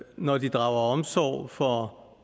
når de drager omsorg for